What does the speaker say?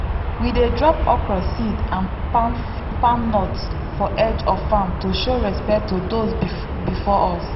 old farm festival dey start when dem pour corn powder round spirit stones for secret place.